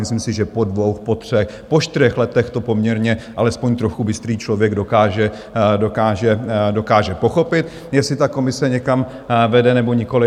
Myslím si, že po dvou, po třech, po čtyřech letech to poměrně alespoň trochu bystrý člověk dokáže pochopit, jestli ta komise někam vede nebo nikoliv.